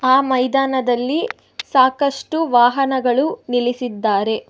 ಆ ಮೈದಾನದಲ್ಲಿ ಸಾಕಷ್ಟು ವಾಹನಗಳು ನಿಲ್ಲಿಸಿದ್ದಾರೆ.